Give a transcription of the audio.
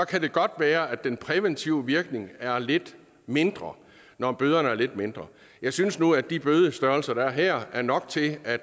kan det godt være at den præventive virkning er lidt mindre når bøderne er lidt mindre jeg synes nu at de bødestørrelser der er her er nok til at